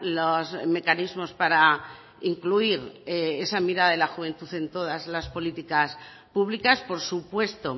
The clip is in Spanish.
los mecanismos para incluir esa mirada de la juventud en todas las políticas públicas por supuesto